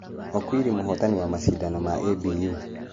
Okwiri mũhotani wa mashidano ma ABU.